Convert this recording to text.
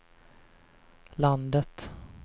landet